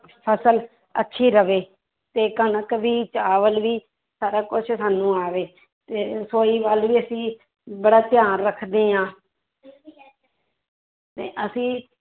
ਫਸਲ ਅੱਛੀ ਰਵੇ ਤੇ ਕਣਕ ਵੀ ਚਾਵਲ ਵੀ ਸਾਰਾ ਕੁਛ ਸਾਨੂੰ ਆਵੇ ਤੇ ਰਸੌਈ ਵੱਲ ਵੀ ਅਸੀਂ ਬੜਾ ਧਿਆਨ ਰੱਖਦੇ ਹਾਂ ਤੇ ਅਸੀਂ